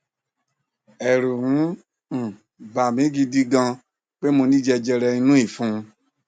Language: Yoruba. ẹrù ń um bà mi gidi gan pé mo ní jẹjẹrẹ inú ìfun